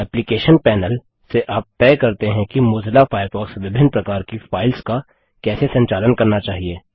application panel से आप तय करते हैं कि मोजिला फायरफॉक्स विभिन्न प्रकार की फाइल्स का कैसे संचालन करना चाहिए